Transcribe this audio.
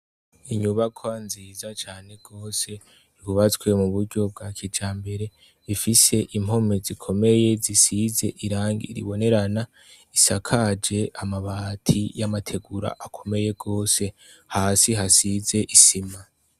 Inyubakwa nziza cane gose yubatswe mu buryo bwa kijambere, ifise impome zikomeye zisize irangi ribonerana, isakaje amabati y' amategura akomeye gose, hasi hasize isima.